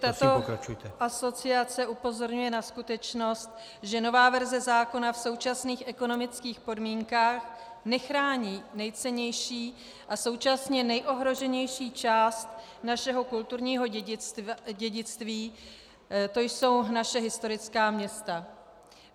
Tato asociace upozorňuje na skutečnost, že nová verze zákona v současných ekonomických podmínkách nechrání nejcennější a současně nejohroženější část našeho kulturní dědictví, to jsou naše historická města.